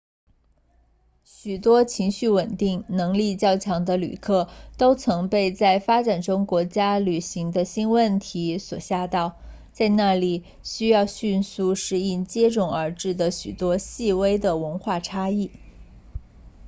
许多情绪稳定能力较强的旅客都曾被在发展中国家旅行的新问题所吓倒在那里需要迅速适应接踵而至的许多细微文化差异